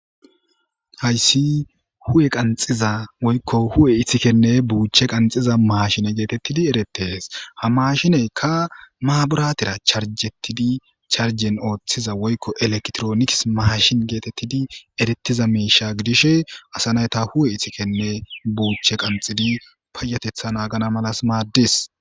hayssi hu7e qanxiza woykko hu7e ithikenne buuche qanxiza maashine geetettidi erettees ha mashineykka maaburatira charjettidi charjen ooththiza woykko elektrooniks maashin geetettidi erettiza meisha gidishe asa nayta huwe ithikenne buuchche qanxidi payatetha naagana malas maaddis